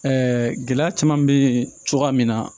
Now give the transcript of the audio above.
gɛlɛya caman bɛ yen cogoya min na